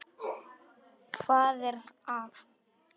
Hvað er að?